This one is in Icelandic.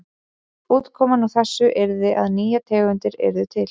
Útkoman úr þessu yrði að nýjar tegundir yrðu til.